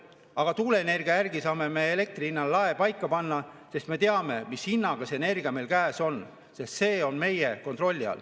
Aga tuuleenergia puhul saame elektri hinnalae paika panna, sest me teame, mis hinnaga see energia meil käes on – see on meie kontrolli all.